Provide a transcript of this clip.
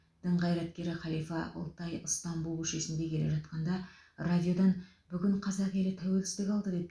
дін қайраткері халифа алтай ыстанбұл көшесінде келе жатқанда радиодан бүгін қазақ елі тәуелсіздік алды деп